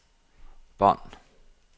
bånd